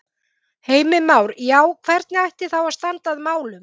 Heimir Már: Já, hvernig ætti þá að standa að málum?